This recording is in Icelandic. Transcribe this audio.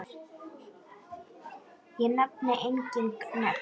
Ég nefni engin nöfn.